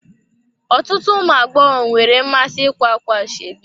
Ọtụtụ ụmụ agbọghọ nwere mmasị ikwa ákwà ashebi